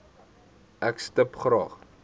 ek stip graag